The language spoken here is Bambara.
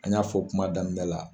An y'a fɔ kuma daminɛ la.